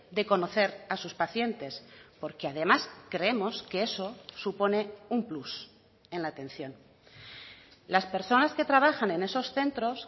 de conocer a sus pacientes porque además creemos que eso supone un plus en la atención las personas que trabajan en esos centros